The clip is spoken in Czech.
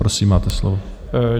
Prosím, máte slovo.